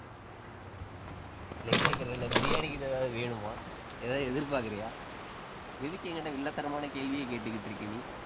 இல்லை கேட்கிறேன் இல்லை பிரியாணி கீது ஏதாவது வேணுமா ஏதாவது எதிர்பார்க்கிறியா எதுக்கு என்கிட்ட வில்லத்தனமான கேள்வியே கேட்டுக்கிட்டு இருக்க நீ?